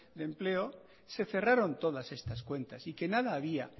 de empleo se cerraron todas estas cuentas y que nada había